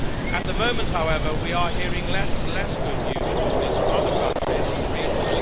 At the moment, however, we are hearing less and less good news stories from other countries in the region.